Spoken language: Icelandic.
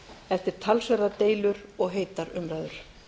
eftir talsverðar deilur og heitar umræður